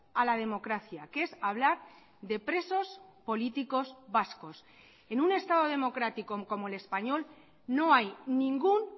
a la democracia que es hablar de presos políticos vascos en un estado democrático como el español no hay ningún